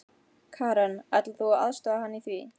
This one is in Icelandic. Karen: Ætlar þú að aðstoða hann í því?